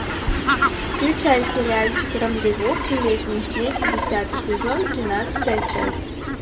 включай сериальчик рандеву при летнем снеге десятый сезон тринадцатая часть